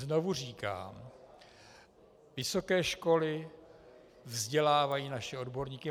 Znovu říkám, vysoké školy vzdělávají naše odborníky.